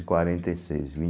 E quarenta e seis